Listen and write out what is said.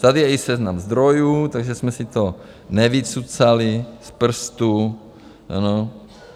Tady je i seznam zdrojů, takže jsme si to nevycucali z prstu.